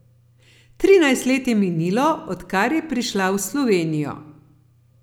Trinajst let je minilo, odkar je prišla v Slovenijo.